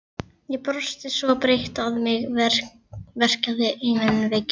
Ég brosti svo breitt að mig verkjaði í munnvikin.